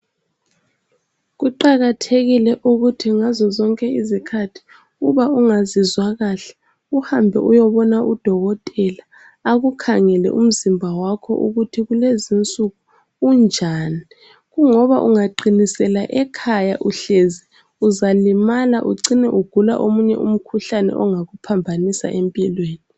Kuqakathekile ukuthi ngazozonke izikhathi uba ungazizwa kahle uhambe uyobona udokotela akukhangele umzimba wakho ukuthi kulezinsuku unjani. Kungoba ungaqinisela ekhaya uhlezi uzalimala ucine ugula omunye umkhuhlane ongakuphambanisa empilweni.